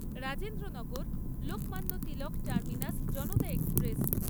Rajendranagar Lokmanya Tilak terminus Janata express